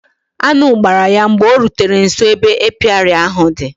Añụ gbara ya mgbe o rutere nso ebe apịary ahụ di